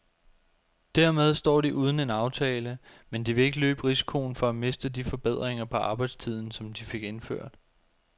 Dermed står de uden en aftale, men de vil ikke løbe risikoen for at miste de forbedringer på arbejdstiden, som de fik indført.